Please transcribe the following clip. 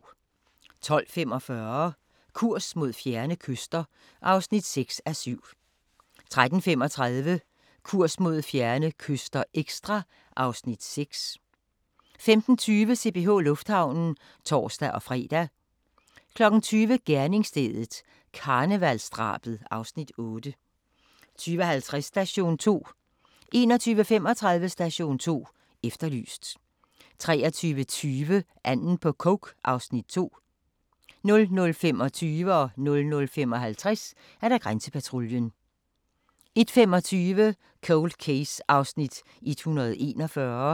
12:45: Kurs mod fjerne kyster (6:7) 13:35: Kurs mod fjerne kyster – ekstra (Afs. 6) 15:20: CPH Lufthavnen (tor-fre) 20:00: Gerningsstedet – karnevalsdrabet (Afs. 8) 20:50: Station 2 21:35: Station 2 Efterlyst 23:20: Anden på coke (Afs. 2) 00:25: Grænsepatruljen 00:55: Grænsepatruljen 01:25: Cold Case (141:156)